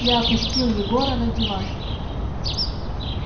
я опустил егора на диван